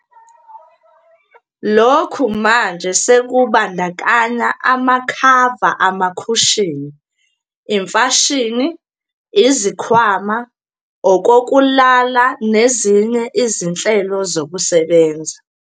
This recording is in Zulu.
Lokhu manje sekubandakanya amakhava amakhushini, imfashini, izikhwama, okokulala nezinye izinhlelo zokusebenza.